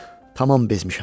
Tamam bezmişəm.